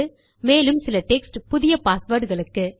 மேலும் சில டெக்ஸ்ட் புதிய பாஸ்வேர்ட் களுக்கு